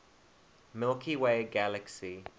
milky way galaxy